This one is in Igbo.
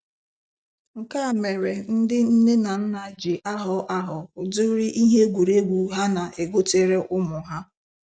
Nke a mere ndị nne na nna ji ahọ ahọ ụdịrị ihe egwuregwu ha na-egotere ụmụ ha.